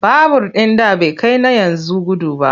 Babur ɗin da bai kai na yanzu gudu ba.